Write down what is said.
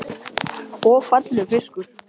Magnús Hlynur: Og fallegur fiskur?